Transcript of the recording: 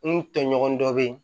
N tɔɲɔgɔn dɔ bɛ yen